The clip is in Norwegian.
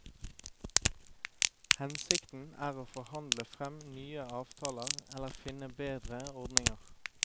Hensikten er å forhandle frem nye avtaler eller finne bedre ordninger.